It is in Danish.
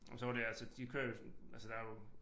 Men så var det altså de kører jo sådan altså der jo